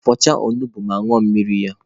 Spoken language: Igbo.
Fọchaa onugbu ma ñụọ mmiri ya!